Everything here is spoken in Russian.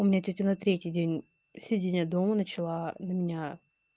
у меня тётя на третий день сидения дома начала на меня